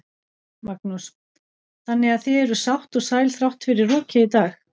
Magnús: Þannig að þið eruð sátt og sæl þrátt fyrir rokið í dag?